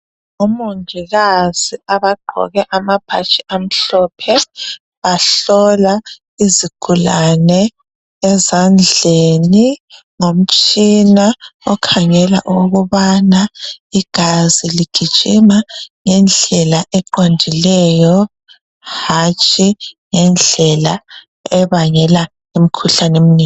Omongikazi abagqoke amabhatshi amhlophe bahlola izigulane ezandleni ngomtshina okhangela ukubana igazi ligijima ngendlela eqondileyo hatshi ngendlela ebangela imikhuhlane eminengi.